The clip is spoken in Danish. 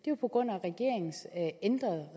jo på grund af regeringens ændrede